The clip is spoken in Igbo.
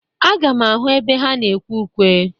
Aga m ahụ ebe ha na-ekwe ụkwe.